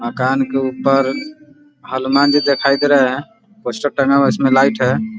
मकान के ऊपर हनुमान जी दिखाई दे रहे हैं पोस्टर टंगा हुआ है उसमें लाइट है ।